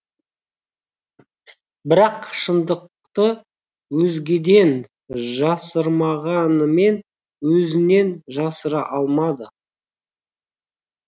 бірақ шындықты өзгеден жасырмағанымен өзінен жасыра алмады